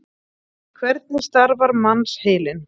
Hvernig starfar mannsheilinn?